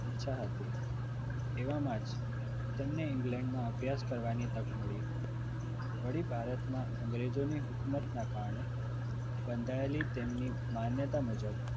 ઈચ્છા હતી એમણે England માં અભ્યાસ કરવાની તક મળી વળી પાછી ભારતમાં અંગ્રેજોની હુકુમોના કારણે બંધાયેલી તેમની માન્યતા મુજબ